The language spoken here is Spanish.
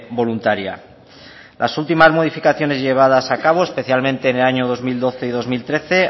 voluntaria las últimas modificaciones llevadas a cabo especialmente en los años dos mil doce y dos mil trece